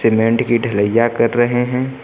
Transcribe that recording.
Cement की ढलईया कर रहे हैं।